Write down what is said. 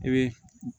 I bɛ